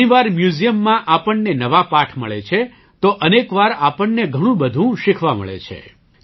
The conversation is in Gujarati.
ઘણી વાર મ્યૂઝિયમમાં આપણને નવા પાઠ મળે છે તો અનેક વાર આપણને ઘણું બધું શીખવા મળે છે